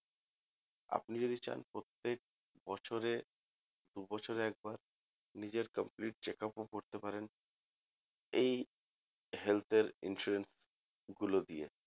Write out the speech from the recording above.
আপনি যদি চান প্রত্যেক বছরে দু বছরে একবার নিজের complete checkup ও করতে পারেন এই health এর insurance গুলো দিয়ে